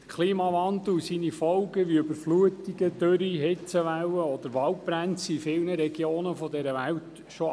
Die Folgen des Klimawandels, wie Überflutungen, Dürren, Hitzewellen oder Waldbrände, gehören in vielen Regionen schon zum Alltag.